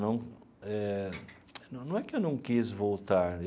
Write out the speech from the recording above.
Não eh não é que eu não quis voltar.